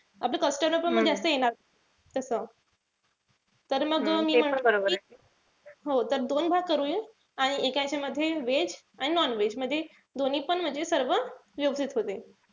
आपलं customer पण जास्त येणार नाई तस. तर मग मी म्हणत होते कि, हो तर दोन भाग करूया आणि एका यांच्यामध्ये veg आणि non-veg. म्हणजे दोन्ही पण म्हणजे सर्व व्यवस्थित होते.